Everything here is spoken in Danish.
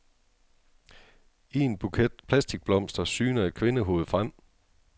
I en buket plastikblomster syner et kvindehoved frem.